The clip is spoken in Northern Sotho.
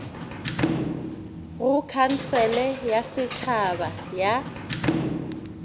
go khansele ya setšhaba ya